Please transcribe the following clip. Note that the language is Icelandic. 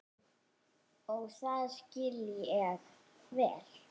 Og það skil ég vel.